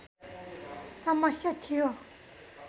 समस्या थियो